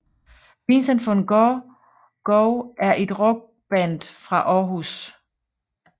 Vincent Van Go Go er et rockband fra Århus